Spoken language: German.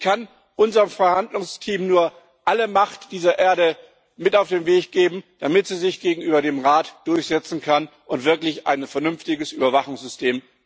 Ich kann unserem Verhandlungsteam nur alle Macht dieser Erde mit auf den Weg geben, damit es sich gegenüber dem Rat durchsetzen kann und wirklich ein vernünftiges Überwachungssystem geschaffen wird.